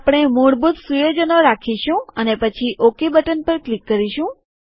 આપણે મૂળભૂત સુયોજનો રાખીશું અને પછી ઓકે બટન પર ક્લિક કરીશું